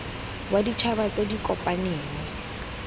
wa ditšhaba tse di kopaneng